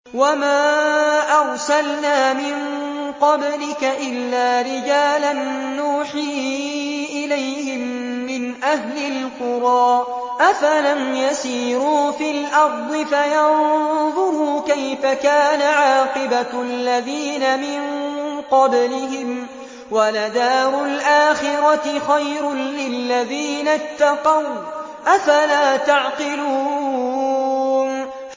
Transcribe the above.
وَمَا أَرْسَلْنَا مِن قَبْلِكَ إِلَّا رِجَالًا نُّوحِي إِلَيْهِم مِّنْ أَهْلِ الْقُرَىٰ ۗ أَفَلَمْ يَسِيرُوا فِي الْأَرْضِ فَيَنظُرُوا كَيْفَ كَانَ عَاقِبَةُ الَّذِينَ مِن قَبْلِهِمْ ۗ وَلَدَارُ الْآخِرَةِ خَيْرٌ لِّلَّذِينَ اتَّقَوْا ۗ أَفَلَا تَعْقِلُونَ